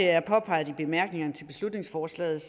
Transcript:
er påpeget i bemærkningerne til beslutningsforslaget